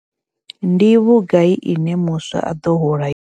Ndi vhugai ine muswa a ḓo hola yone.